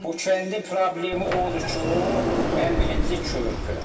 Bu kəndin problemi odur ki, ən birinci körpü.